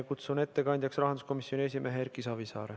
Kutsun ettekandjaks rahanduskomisjoni esimehe Erki Savisaare.